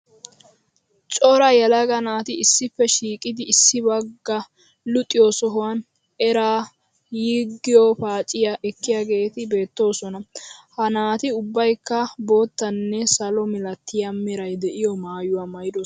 Cora yelaga naati issippe shiiqidi issi bagga luxiyo sohuwan eraa yiggiyo paaciya ekkiyageeti beettoosona. Ha naati ubbayikka boottanne salo milatiya meray de'iyo maayuwa maayidosona.